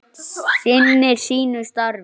Enn einu sinni.